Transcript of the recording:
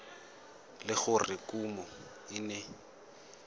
le gore kumo e ne